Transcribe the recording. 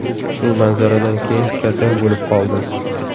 Shu manzaradan keyin kasal bo‘lib qoldim.